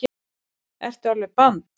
Ertu alveg band?